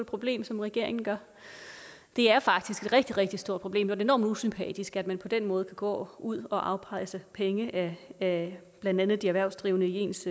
problem som regeringen gør det er faktisk et rigtig rigtig stort problem og enormt usympatisk at man på den måde går ud og afpresser penge af blandt andet de erhvervsdrivende i ens